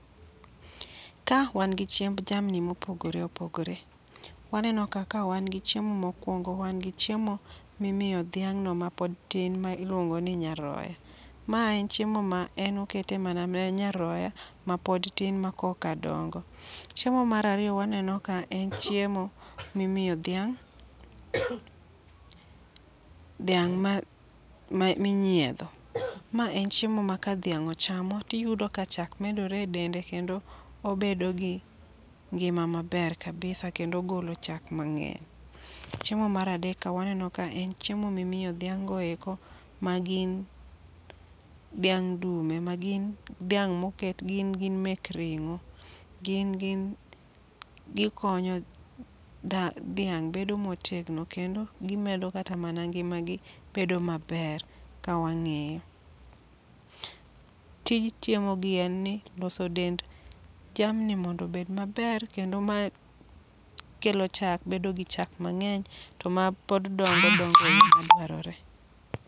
Ka wan gi chiemb jamni mopogore opogore. Waneno ka ka wan gi chiemo mokwongo, wan gi chiemo mimiyo dhiang'no mapod tin miluongo ni nyaroya. Ma en chiemo ma en okete mana ne nyaroya mapod tin ma koka dongo. Chiemo marariyo waneno ka en chiemo mimiyo dhiang', dhiang' ma minyiedho. Ma en chiemo ma ka dhiang' ochamo, tiyudo ka chak medore e dende kendo obedo gi ngima maber kabisa kendo ogolo chak mang'eny. Chiemo maradek ka waneno ka en chiemo mimiyo dhiang' go eko ma gin dhiang' dume ma gin dhiang' moket gin gin mek ring'o. Gin gin gikonyo dhiang' bedo motegno kendo gimedo kata mana ngima gi bedo maber, ka wang'iyo. Tij chiemo gi en ni loso dend jamni mondo bed maber, kendo mae kelo chak bedo gi chak mang'eny to mapod dongo dongo e yo ma dwarore.